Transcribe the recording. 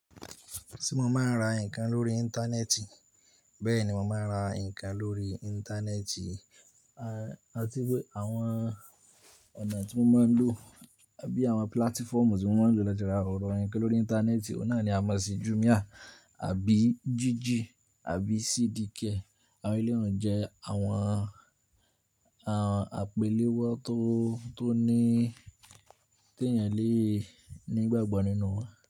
Ti mo máa ń ra nǹkan lórí Íńtánẹ́ẹ̀tì? Bẹ́ẹ̀ni, mo máa ń ra nǹkan lórí Íńtánẹ́ẹ̀tì. Àti pé àwọn ọ̀nà tí mo máa ń lò àbí àwọn pílátífọ̀mù tí mo máa ń lò lájúra ọ̀rọ̀ ẹ̀ nǹkan lórí Íńtánẹ́ẹ̀tì, ó náà ni a mọ̀ sí Jumia àbí Jiji àbí CDcare. Àwọn ilé ìwọ̀n jẹ́ àwọn, àwọn àpéléwọ́ tó, tó ní tó yàn léè nígbàgbọ̀ nínú wa.